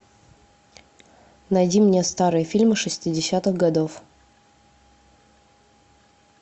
найди мне старые фильмы шестидесятых годов